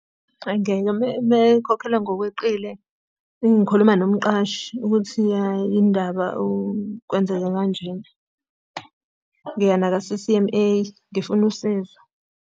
Hhayi ngeke uma ekhokhelwa ngokweqile, ngikhuluma nomqashi ukuthi hhayi indaba kwenzeke kanjena. Ngiya naka-C_C_M_A ngifuna usizo.